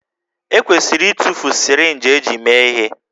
E kwesịrị ịtụfu sirinji eji mee ihe